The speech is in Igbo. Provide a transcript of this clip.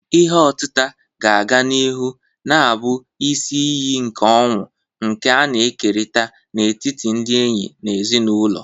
Ihe otita ga-aga n'ihu na-abụ isi iyi nke ọṅụ, nke a na-ekerịta n'etiti ndị enyi na ezinụlọ.